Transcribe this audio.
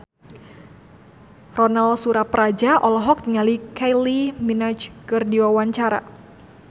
Ronal Surapradja olohok ningali Kylie Minogue keur diwawancara